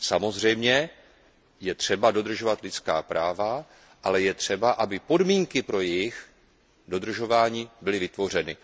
Samozřejmě, je třeba dodržovat lidská práva, ale je třeba, aby podmínky pro jejich dodržování byly vytvořeny.